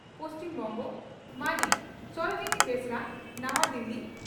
ᱯᱹᱵᱹ) ᱢᱟᱹᱱᱤᱡ ᱥᱚᱨᱚᱡᱤᱱᱤ ᱵᱮᱥᱨᱟ (ᱱᱟᱣᱟ ᱫᱤᱞᱤ)